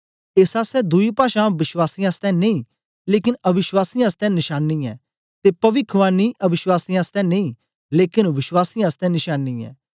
एस आसतै दुई पाषां वश्वासीयें आसतै नेई लेकन अविश्वासीयें आसतै नशांनी ऐ ते पविखवाणी अविश्वासीयें आसतै नेई लेकन वश्वासीयें आसतै नशांनी ऐ